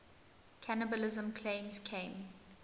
cannibalism claims came